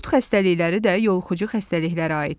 Qurd xəstəlikləri də yoluxucu xəstəliklərə aiddir.